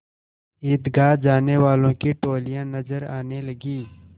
ईदगाह जाने वालों की टोलियाँ नजर आने लगीं